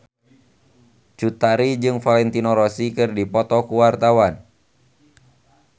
Cut Tari jeung Valentino Rossi keur dipoto ku wartawan